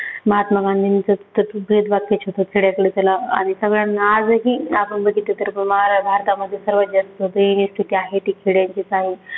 महात्मा गांधींचं ब्रीदवाक्यच होतं खेड्याकडे चला. आणि सगळ्यांना आजही आपण बघितलं तर मारा भारतामध्ये सर्वात जास्त स्थिती आहे ती खेड्यांचीच आहे.